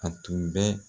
A tun bɛ